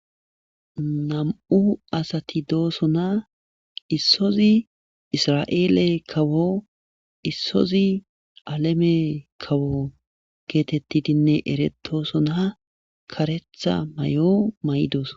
Ham7u asati doosona issozi isra7eele kawo issozi aleme kawo geetettidinne eretosona karetha may7o may7 dooso.